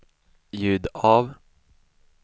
ljud av